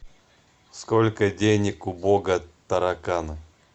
сколько денег у бога тараканы